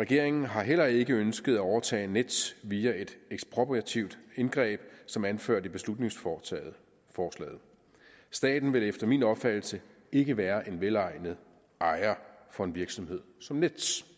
regeringen har heller ikke ønsket at overtage nets via et ekspropriativt indgreb som anført i beslutningsforslaget staten vil efter min opfattelse ikke være en velegnet ejer for en virksomhed som nets